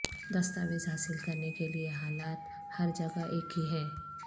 دستاویز حاصل کرنے کے لئے حالات ہر جگہ ایک ہی ہیں